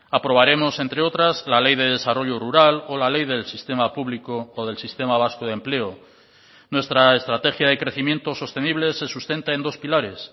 aprobaremos entre otras la ley de desarrollo rural o la ley del sistema público o del sistema vasco de empleo nuestra estrategia de crecimiento sostenible se sustenta en dos pilares